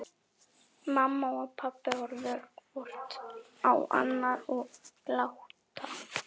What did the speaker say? Mamma og pabbi horfa hvort á annað og glotta.